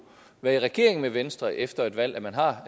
være i regering med venstre efter et valg at man har